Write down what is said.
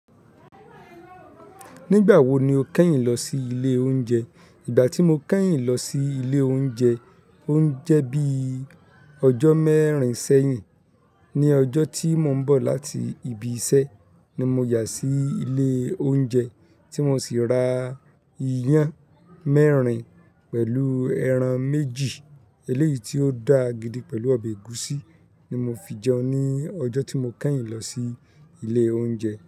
Nígbà wo ni o kẹ́yìn lọ sí ilé oúnjẹ? Ìgbà tí mo kẹ́yìn lọ sí ilé oúnjẹ, ó ń jẹ́ bí ọjọ́ mẹ́rin sẹ́yìn. Ní ọjọ́ tí mò ń bọ̀ láti ibi iṣẹ́ ni mo yà sí ilé oúnjẹ tí mo sì ra ìyàn mẹ́rin pẹ̀lú ẹran méjì eléyìí tí ó dà gidi pẹ̀lú ọbẹ̀ ẹ̀gúsí ni mo fi jẹun ní ọjọ́ tí mo kẹ́yìn lọ sí ilé oúnjẹ.